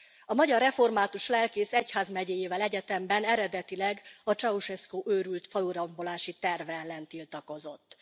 A magyar református lelkész egyházmegyéjével egyetemben, eredetileg a Ceaușescu őrült falurombolási terve ellen tiltakozott.